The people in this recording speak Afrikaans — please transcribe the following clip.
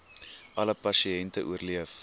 alle pasiënte oorleef